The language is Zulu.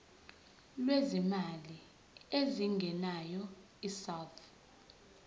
lwezimali ezingenayo isouth